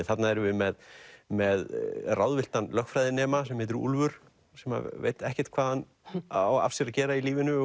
þarna erum við með með ráðvilltan lögfræðinema sem heitir Úlfur sem veit ekkert hvað hann á af sér að gera í lífinu